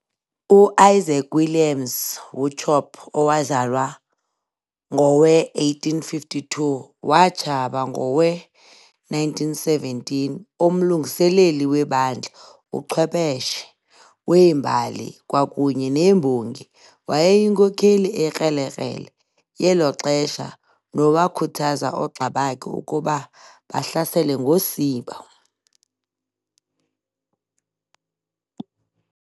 U-Isaac Williams Wauchope, owazalwa ngowe-1852 watshaba ngowe-1917,umlungiseleli webandla, uchwepheshe wembali kwakunye nembongi, wayeyinkokheli ekrelekrele yeloxesha nowakhuthaza ogxa bakhe ukuba 'bahlasele ngosiba'